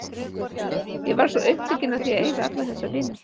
Ég varð svo upptekin af því að eiga alla þessa vini.